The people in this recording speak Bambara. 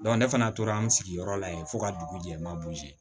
ne fana tora an sigiyɔrɔ la yen fo ka dugu jɛman